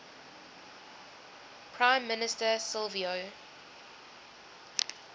prime minister silvio